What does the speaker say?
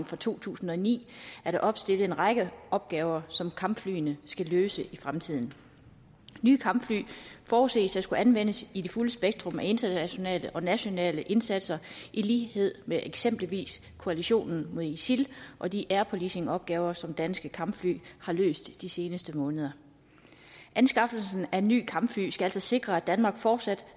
fra to tusind og ni er der opstillet en række opgaver som kampflyene skal løse i fremtiden nye kampfly forudses at skulle anvendes i det fulde spektrum af internationale og nationale indsatser i lighed med eksempelvis koalitionen mod isil og de air policing opgaver som danske kampfly har løst i de seneste måneder anskaffelsen af nye kampfly skal altså sikre at danmark fortsat